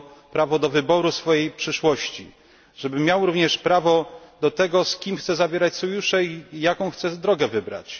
prawo do wyboru swojej przyszłości, żeby miał również prawo do tego, z kim chce zawierać sojusze i jaką chce drogę wybrać.